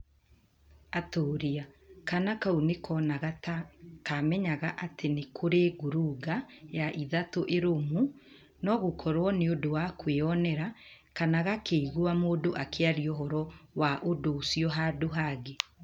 ATŨRĨA! Kaana kau nĩ koonaga ta kamenyaga atĩ nĩ kũrĩ ⁇ ngurunga ya ithatũ ĩrũmu (no gũkorũo nĩ ũndũ wa kwĩyonera) kana gakĩigua mũndũ akĩaria ũhoro wa ũndũ ũcio handũ hangĩ.